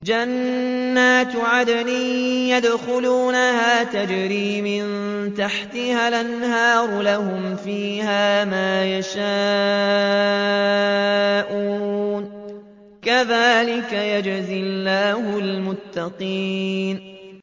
جَنَّاتُ عَدْنٍ يَدْخُلُونَهَا تَجْرِي مِن تَحْتِهَا الْأَنْهَارُ ۖ لَهُمْ فِيهَا مَا يَشَاءُونَ ۚ كَذَٰلِكَ يَجْزِي اللَّهُ الْمُتَّقِينَ